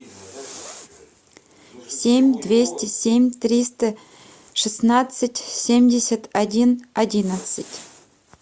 семь двести семь триста шестнадцать семьдесят один одиннадцать